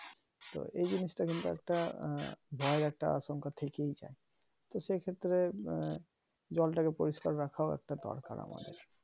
তো এইজিনিসটা কিন্তু একটা ভয়ের একটা আশঙ্কা থেকেই যাই তো সে ক্ষেত্রে আহ জলটাকে পরিষ্কার রাখাও একটা দরকার আমাদের